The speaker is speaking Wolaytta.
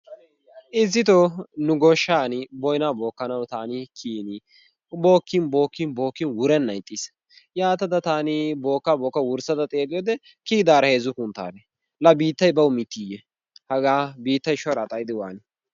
Issitoo nu goshshaani boynaa bookkanawu taani kiyiini bookkin bookkin bookkin wurennan ixxis. Yaatada taani bookkaa bookkada wurssada xeelliyode kiyidaara heezzu kunttaalle. Laa biittayi bawu mittiiyye hagaa biittayi shoraa xayidi waanii?